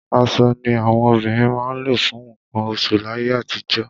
Aṣọ ni àwọn obìnrin máa ń lò fún nǹkan oṣù láyé àtijọ́.